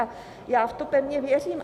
A já v to pevně věřím.